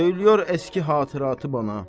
Söyləyir eski xatirəti bana.